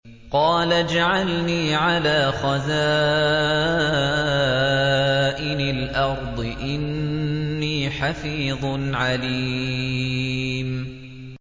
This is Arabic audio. قَالَ اجْعَلْنِي عَلَىٰ خَزَائِنِ الْأَرْضِ ۖ إِنِّي حَفِيظٌ عَلِيمٌ